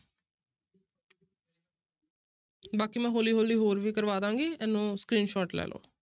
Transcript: ਬਾਕੀ ਮੈਂ ਹੌਲੀ ਹੌਲੀ ਹੋਰ ਵੀ ਕਰਵਾ ਦੇਵਾਂਗੀ, ਇਹਨੂੰ screenshot ਲੈ ਲਓ।